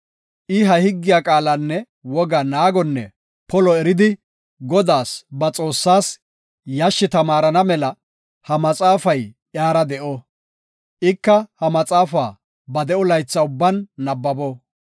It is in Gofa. I ha higgiya qaalanne wogaa naagonne polo eridi Godaas, ba Xoossaas, yashshi tamaarana mela, ha maxaafay iyara de7o; ika ha maxaafa ba de7o laytha ubban nabbabo.